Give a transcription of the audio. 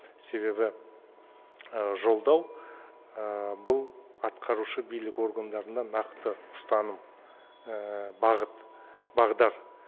себебі жолдау бұл атқарушы билік органдарына нақты ұстаным бағыт бағдар